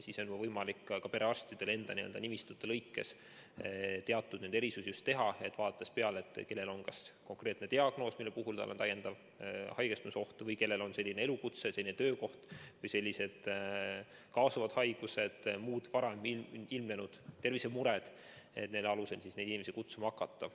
Siis on võimalik perearstidel enda nimistus teatud erisusi teha, vaadates, kellel on kas konkreetne diagnoos, mille puhul tal on täiendav haigestumisoht, või kellel on selline elukutse, selline töökoht või kaasuvad haigused, muud varem ilmnenud tervisemured, ja selle alusel neid inimesi kutsuma hakata.